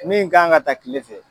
Min kan ka ta kile fɛ